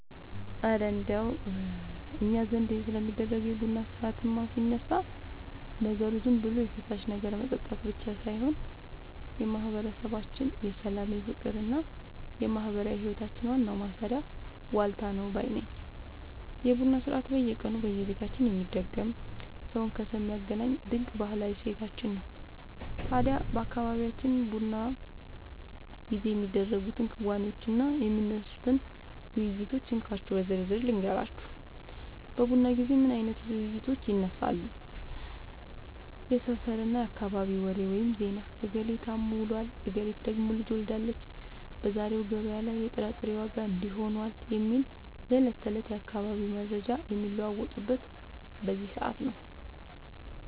እረ እንደው እኛ ዘንድ ስለሚደረገው የቡና ሥርዓትማ ሲነሳ፣ ነገሩ ዝም ብሎ የፈሳሽ ነገር መጠጣት ብቻ ሳይሆን የማህበረሰባችን የሰላም፣ የፍቅርና የማህበራዊ ህይወታችን ዋናው ማሰሪያ ዋልታ ነው ባይ ነኝ! የቡና ሥርዓት በየቀኑ በየቤታችን የሚደገም፣ ሰውን ከሰው የሚያገናኝ ድንቅ ባህላዊ እሴታችን ነው። ታዲያ በአካባቢያችን በቡና ጊዜ የሚደረጉትን ክንዋኔዎችና የሚነሱትን ውይይቶች እንካችሁ በዝርዝር ልንገራችሁ፦ በቡና ጊዜ ምን አይነት ውይይቶች ይነሳሉ? የሰፈርና የአካባቢ ወሬ (ዜና)፦ "እገሌ ታሞ ውሏል፣ እገሊት ደግሞ ልጅ ወልዳለች፣ በዛሬው ገበያ ላይ የጥራጥሬ ዋጋ እንዲህ ሆኗል" የሚሉ የዕለት ተዕለት የአካባቢው መረጃዎች የሚለዋወጡት በዚህ ሰዓት ነው።